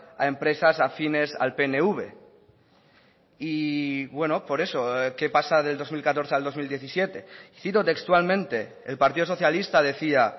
a empresas afines al pnv y bueno por eso qué pasa del dos mil catorce al dos mil diecisiete cito textualmente el partido socialista decía